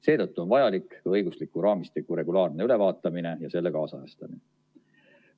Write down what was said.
Seetõttu on vajalik õigusliku raamistiku regulaarne ülevaatamine ja selle kaasajastamine.